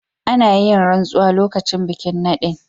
Ana yin ransuwa lokacin bikin nadin.